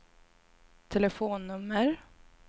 telefonnummer